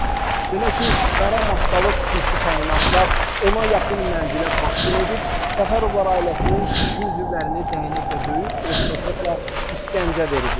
Belə ki, qara maskalı xüsusi təyinatlar 10-a yaxın mənzilə basqın edib, Səfərovlar ailəsinin kişi üzvlərini dəynəklə döyüb, elektroşokla işgəncə veriblər.